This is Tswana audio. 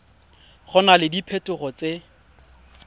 go na le diphetogo tse